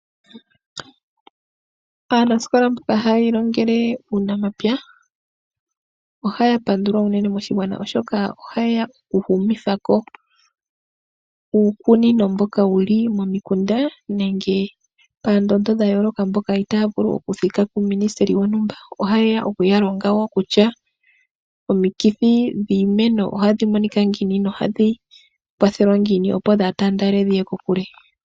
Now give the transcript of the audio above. Aanasikola mboka haya ilongele uunamapya ohaya pandulwa unene moshigwana, oshoka ohaye ya oku humitha ko uukunino mboka wuli momikunda nenge paendondo dha yooloka, mboka itaya vulu oku thika kuuMinisiteli wontumba. Ohaye ya oku ya longa wo kutya, omikithi dhiimeno ohadhi monika ngiini nohadhi kwathelwa ngiini, opo dhaa taandele dhiye kokule.